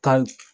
Tali